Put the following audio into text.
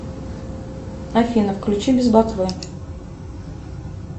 афина включи без ботвы